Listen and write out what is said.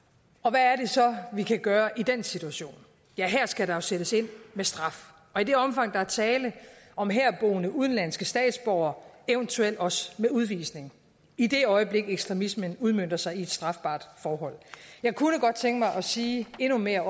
hvad er det så vi kan gøre i den situation ja her skal der jo sættes ind med straf og i det omfang der er tale om herboende udenlandske statsborgere eventuelt også med udvisning i det øjeblik ekstremismen udmønter sig i et strafbart forhold jeg kunne godt tænke mig også at sige endnu mere